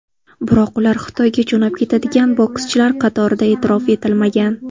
Biroq ular Xitoyga jo‘nab ketadigan bokschilar qatorida e’tirof etilmagan.